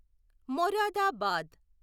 Moradabad